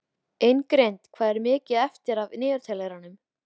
Ingrid, hvað er mikið eftir af niðurteljaranum?